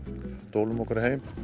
dólum okkur heim